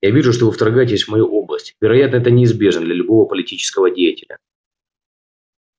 я вижу что вы вторгаетесь в мою область вероятно это неизбежно для любого политического деятеля